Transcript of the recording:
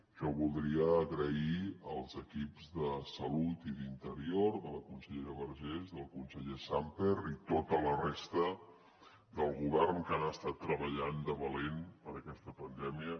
jo voldria donar les gràcies als equips de salut i d’interior de la consellera vergés i del conseller sàmper i tota la resta del govern que han estat treballant de valent per aquesta pandèmia